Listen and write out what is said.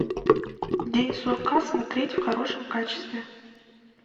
день сурка смотреть в хорошем качестве